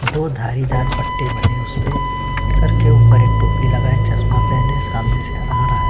दो धारीदार पट्टे बने उसपे सर के उपर एक टोपी लगाए चश्मा पहने सामने से आ रहा है।